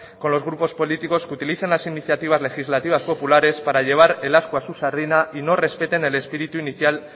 con los grupos políticos que utilizan las iniciativas legislativas populares para llevar el ascua a su sardina y no respeten el espíritu inicial